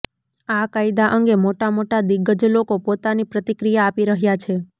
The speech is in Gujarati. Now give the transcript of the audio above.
આ કાયદા અંગે મોટા મોટા દિગ્ગજ લોકો પોતાની પ્રતિક્રિયા આપી રહ્યા છે